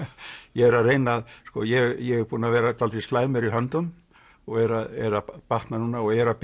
ég er að reyna að ég er búinn að vera dálítið slæmur í höndum og er að er að batna núna og er að